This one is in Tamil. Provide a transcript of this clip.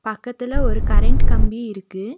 பக்கத்துல ஒரு கரண்ட் கம்பி இருக்கு.